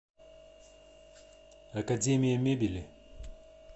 академия мебели